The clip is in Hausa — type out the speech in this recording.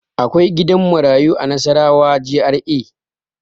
Akwai gidan marayu a Nasarawa GRA.